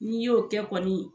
N'i y'o kɛ kɔni